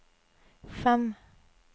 fem